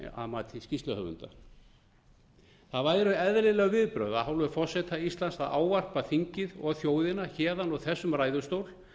að mati skýrsluhöfunda það væru eðlileg viðbrögð af hálfu forseta íslands að ávarpa þingið og þjóðina héðan úr þessum ræðustól